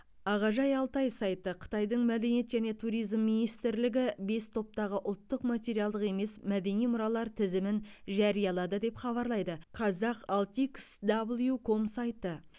ағажай алтай сайты қытайдың мәдениет және туризм министрлігі бес топтағы ұлттық материалдық емес мәдени мұралар тізімін жариялады деп хабарлайды қазақ алт икс дабл ю ком сайты